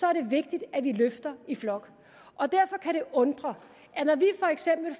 er det vigtigt at vi løfter i flok derfor kan det undre at når vi